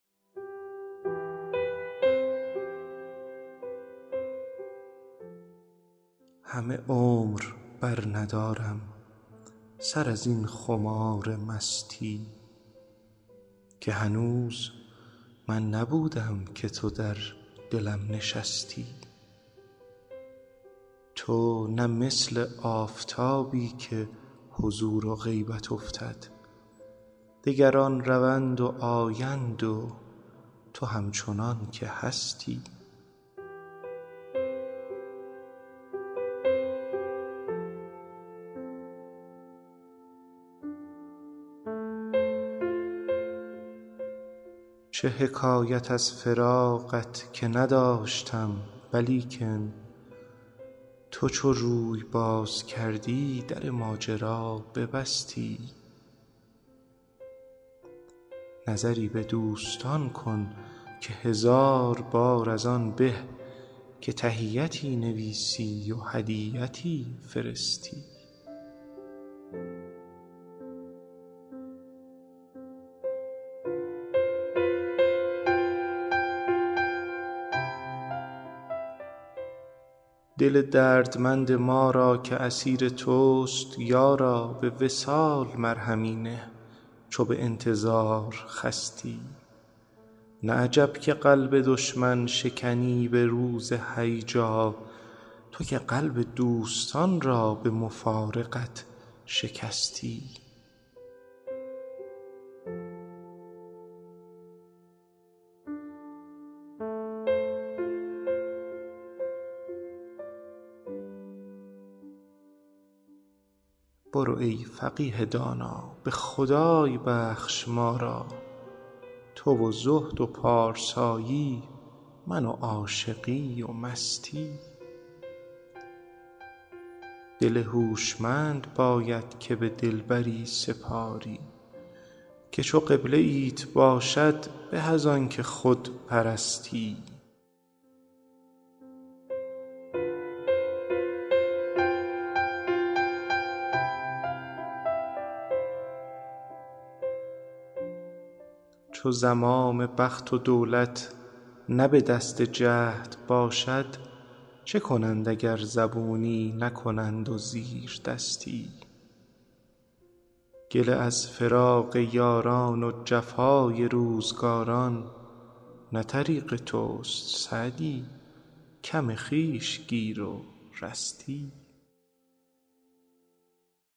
همه عمر برندارم سر از این خمار مستی که هنوز من نبودم که تو در دلم نشستی تو نه مثل آفتابی که حضور و غیبت افتد دگران روند و آیند و تو همچنان که هستی چه حکایت از فراقت که نداشتم ولیکن تو چو روی باز کردی در ماجرا ببستی نظری به دوستان کن که هزار بار از آن به که تحیتی نویسی و هدیتی فرستی دل دردمند ما را که اسیر توست یارا به وصال مرهمی نه چو به انتظار خستی نه عجب که قلب دشمن شکنی به روز هیجا تو که قلب دوستان را به مفارقت شکستی برو ای فقیه دانا به خدای بخش ما را تو و زهد و پارسایی من و عاشقی و مستی دل هوشمند باید که به دلبری سپاری که چو قبله ایت باشد به از آن که خود پرستی چو زمام بخت و دولت نه به دست جهد باشد چه کنند اگر زبونی نکنند و زیردستی گله از فراق یاران و جفای روزگاران نه طریق توست سعدی کم خویش گیر و رستی